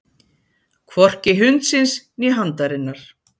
Hvorki hundsins né handarinnar.